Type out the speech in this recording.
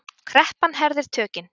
Kreppan herðir tökin